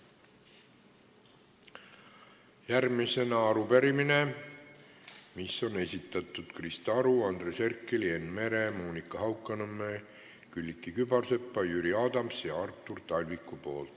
Järgmisena arupärimine, mille on esitanud Krista Aru, Andres Herkel, Enn Meri, Monika Haukanõmm, Külliki Kübarsepp, Jüri Adams ja Artur Talvik.